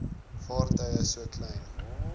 vaartuie so klein